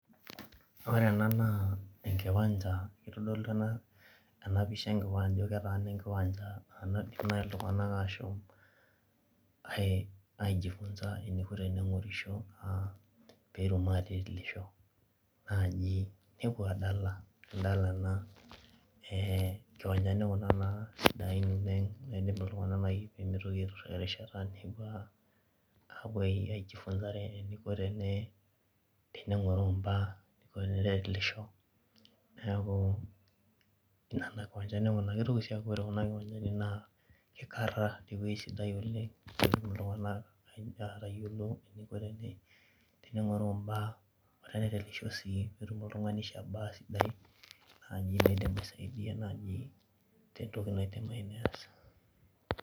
Ore ena enaa enkiwanja eitodolu enapisha ajo keetaana enkiwancha naidim naai iltung'anak ashom aijifunza eniko teneng'orisho aa peetum atitilisho naaji nepuo aadala eeh inkiwanjani kuna sadain oleng naidim iltunganak naai peemeitoki aiturhaa erishata nepuo aijifunzare eniko teneng'oroo im'baa netilisho niaku nena kiwanjani kuna neitoki sii aaku ore kuna kiwanjani naa ikarha tewei sidai oleng' neidim aatayiolo eniko teneng'oroo im'baa netum oltung'ani shabaa sidai naa keidim aasaidia naaji tentoki naidim ayieu neas